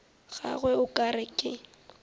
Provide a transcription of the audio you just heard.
gagwe o ka re ke